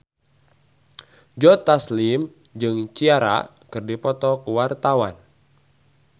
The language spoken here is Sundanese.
Joe Taslim jeung Ciara keur dipoto ku wartawan